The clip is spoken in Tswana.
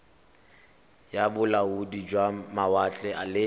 ya bolaodi jwa mawatle le